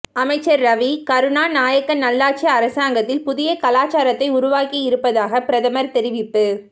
அமைச்சர் ரவி கருணாநாயக்க நல்லாட்சி அரசாங்கத்தில் புதிய கலாச்சாரத்தை உருவாக்கியிருப்பதாக பிரதமர் தெரிவிப்பு